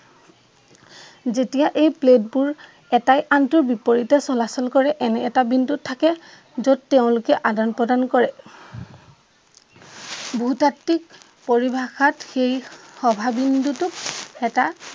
যেতিয়াই এই প্লেট বোৰ এটাই আনটোৰ বিপৰীতে চলাচল কৰে এনে এটা বিন্দুত থাকে যত তেওঁলোকে আদান প্ৰদান কৰে। ভূ-তত্ত্বীক পৰিভাষাত সেই সভা বিন্দুটোক এটা